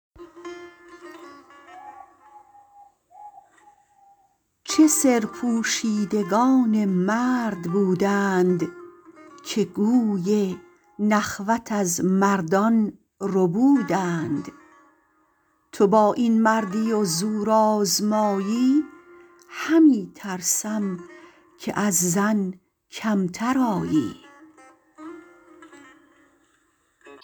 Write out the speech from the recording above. چه سرپوشیدگان مرد بودند که گوی نخوت از مردان ربودند تو با این مردی و زورآزمایی همی ترسم که از زن کمتر آیی